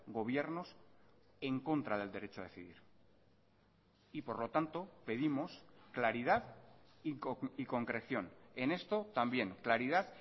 gobiernos en contra del derecho a decidir y por lo tanto pedimos claridad y concreción en esto también claridad